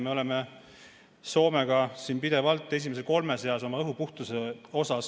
Me oleme Soomega pidevalt esimese kolme seas oma õhu puhtuse poolest.